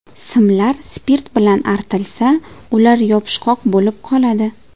Simlar spirt bilan artilsa, ular yopishqoq bo‘lib qoladi.